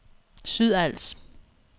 Sydals